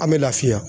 An bɛ lafiya